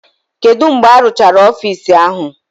Kedu mgbe arụchara ọfisi ahụ?